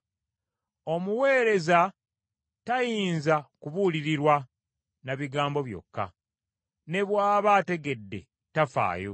Omuweereza tayinza kubuulirirwa na bigambo byokka; ne bw’aba ategedde tafaayo.